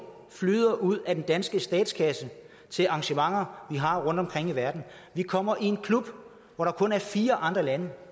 flyder ud af den danske statskasse til engagementer vi har rundtomkring i verden vi kommer i en klub hvor der kun er fire andre lande